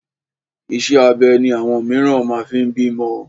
Iṣẹ́ abẹ ni àwọn mìíràn máa fi ń bímọ.